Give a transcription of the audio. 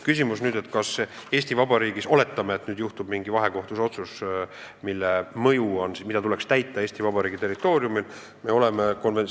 Küsimus on nüüd, kas sellise juhtumi korral, kui tehakse mujal mingi vahekohtu otsus, mis tuleks täita Eesti Vabariigi territooriumil, tuleb tõesti täita.